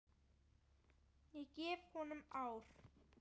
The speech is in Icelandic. Ég gef honum ár.